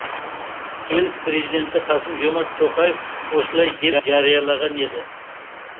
ел президенті қасым жомарт тоқаев осылай деп жариялаған еді